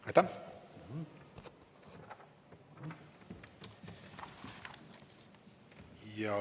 Aitäh!